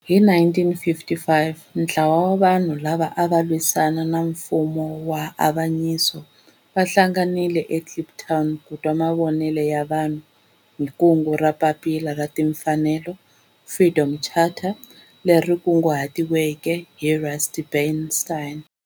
Hi 1955 ntlawa wa vanhu lava ava lwisana na nfumo wa avanyiso va hlanganile eKliptown ku twa mavonelo ya vanhu hi kungu ra Papila ra Timfanelo, Freedom Charter, leri kunguhatiweke hi Rusty Bernstein.